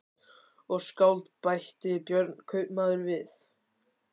Og skáld, bætti Björn kaupmaður við.